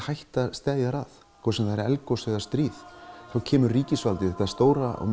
hætta steðjar að hvort sem það er eldgos eða stríð þá kemur ríkisvaldið þetta stóra og